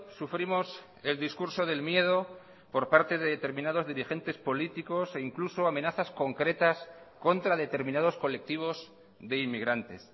sufrimos el discurso del miedo por parte de determinados dirigentes políticos e incluso amenazas concretas contra determinados colectivos de inmigrantes